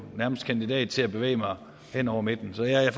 nærmest kandidat til at bevæge mig hen over midten så jeg er